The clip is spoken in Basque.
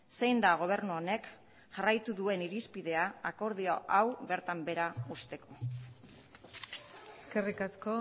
zein da gobernu honek jarraitu duen irizpidea akordio hau bertan behera uzteko eskerrik asko